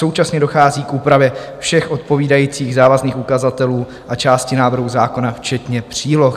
Současně dochází k úpravě všech odpovídajících závazných ukazatelů a části návrhu zákona včetně příloh.